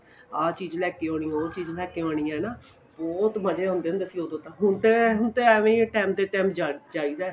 ਆ ਚੀਜ ਲੈਕੇ ਆਉਣੀ ਏ ਉਹ ਚੀਜ ਲੈਕੇ ਆਉਣੀ ਏ ਹਨਾ ਬਹੁਤ ਮਜ਼ੇ ਹੁੰਦੇ ਸੀ ਉਹਦੋ ਨਾ ਹੁਣ ਤੇ ਹੁਣ ਤੇ ਐਵੇ ਟੇਮ ਤੇ ਟੇਮ ਜਾਈਦਾ ਏ